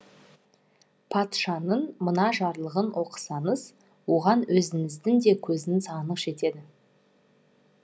патшаның мына жарлығын оқысаңыз оған өзіңіздің де көзіңіз анық жетеді